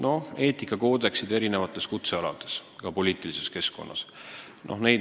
Noh, eetikakoodeksid kehtivad erinevatel kutsealadel, ka poliitilises keskkonnas.